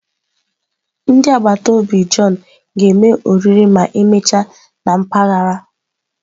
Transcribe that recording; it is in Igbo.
Ndị agbata obi John ga-eme oriri ma emechaa na mpaghara.